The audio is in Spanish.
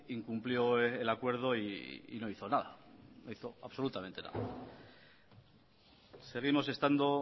incumplió el acuerdo y no hizo nada no hizo absolutamente nada seguimos estando